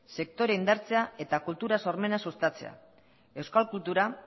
sektorea indartzea eta kultura sormena sustatzea euskal kultura